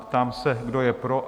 Ptám se, kdo je pro?